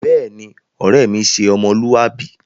Béèni, ore mi se ́ọmọluwabi